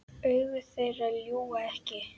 Augu þeirra ljúga ekki.